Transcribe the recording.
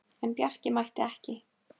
En Bjarki mætti ekki.